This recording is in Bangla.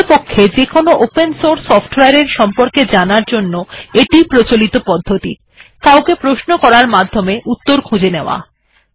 প্রকৃতপক্ষে যেকোনো ওপেন সোর্স সফটওয়ার এর সম্পর্কে জানার জন্য এটি ই প্রচলিত পদ্ধতি কাউকে প্রশ্ন করার মাধ্যমে উত্তর খুঁজে নেওয়া